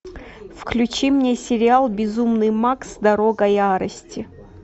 включи мне сериал безумный макс дорога ярости